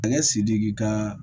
Masakɛ sidiki ka